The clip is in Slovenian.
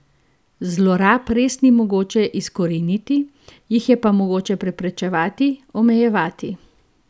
Zlorab res ni mogoče izkoreniniti, jih je pa mogoče preprečevati, omejevati.